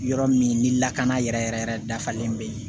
Yɔrɔ min ni lakana yɛrɛ yɛrɛ yɛrɛ dafalen bɛ yen